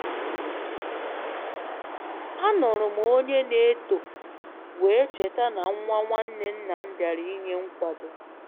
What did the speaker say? A nụrụ m onye na eto wee cheta na nwa nwanne nnam bịara ịnye nkwado